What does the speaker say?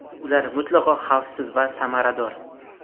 Ular mutlaqo xavfsiz va samarador.